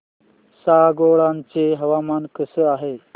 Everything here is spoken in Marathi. सांगोळा चं हवामान कसं आहे